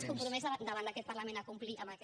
es compromet davant d’aquest parlament a complir amb aquest